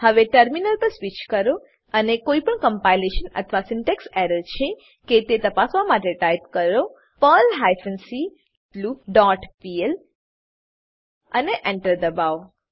હવે ટર્મિનલ પર સ્વીચ કરો અને કોઈપણ કમ્પાઈલેશન અથવા સિન્ટેક્સ એરર છે કે તે તપાસવા માટે ટાઈપ કરો Perl hyphen c loop dot pl અને Enter એન્ટર દબાવો